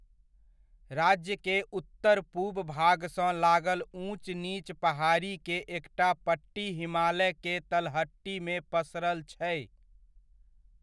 राज्य के उत्तर पूब भागसँ लागल ऊँच नीच पहाड़ी के एकटा पट्टी हिमालय के तलहटीमे पसरल छै।